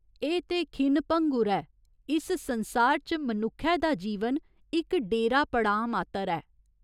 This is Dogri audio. एह् ते खिन भंगुर ऐ, इस संसार च मनुक्खै दा जीवन इक डेरा पड़ांऽ मात्तर ऐ।